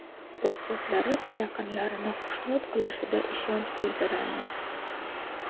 ustozlari va yaqinlarini xushnud qilishida ishonch bildiramiz.